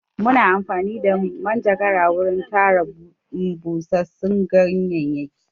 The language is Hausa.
Muna amfani da manjagara wurin tara busassun ganyayyaki.